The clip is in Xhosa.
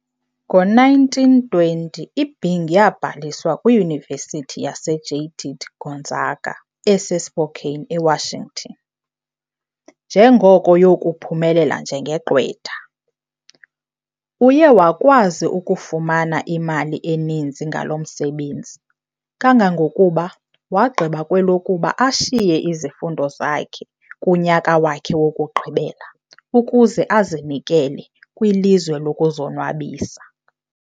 Ngo- 1920 Bing yabhaliswa kwiYunivesithi yaseJaitit Gonzaga ese Spokane, eWashington, ngenjongo yokuphumelela njengegqwetha. Uye wakwazi ukufumana imali eninzi ngalo msebenzi kangangokuba wagqiba kwelokuba ashiye izifundo zakhe kunyaka wakhe wokugqibela ukuze azinikele kwilizwe lokuzonwabisa.